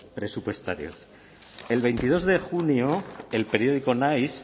presupuestarios el veintidós de junio el periódico naiz